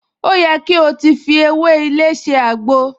O yẹ ko ti fi ewé ilé ṣe àgbo!